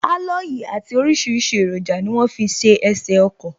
Aloyi àti orisirisi eroja ni wọ́n fi ṣe ẹsè ọkọ̀